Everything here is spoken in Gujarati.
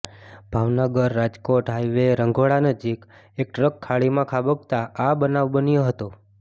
ભાવનગર રાજકોટ હાઇવે રંઘોળા નજીક એક ટ્રક ખાળીમાં ખાબકતા આ બનાવ બન્યો હતો